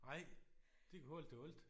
Nej de kunne holde til alt